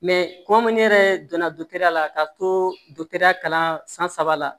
kɔmi ne yɛrɛ donna ya la ka to dɔtɛriya kalan san saba la